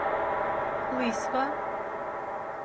лысьва